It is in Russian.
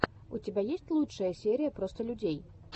у тебя есть лучшая серия просто людей